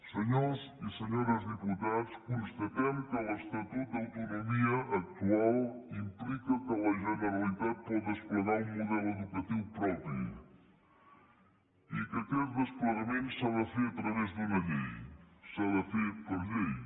senyors i senyores diputats constatem que l’estatut d’autonomia actual implica que la generalitat pot desplegar un model educatiu propi i que aquest desplegament s’ha de fer a través d’una llei s’ha de fer per llei